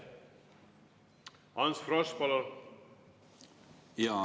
Ants Frosch, palun!